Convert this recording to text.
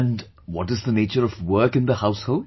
And what is the nature of work in the household